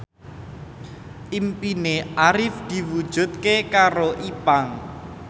impine Arif diwujudke karo Ipank